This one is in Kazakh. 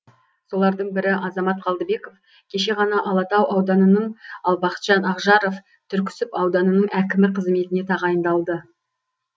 солардың бірі азамат қалдыбеков кеше ғана алатау ауданының ал бақытжан ақжаров түрксіб ауданының әкімі қызметіне тағайындалды